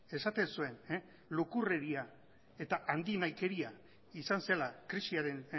esaten zuen lukurreria eta handinahikeria izan zela krisiaren